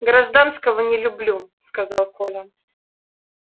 гражданского не люблю сказал коля